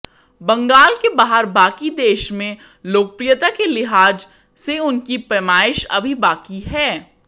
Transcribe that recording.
बंगाल के बाहर बाकी देश में लोकप्रियता के लिहाज से उनकी पैमाइश अभी बाकी है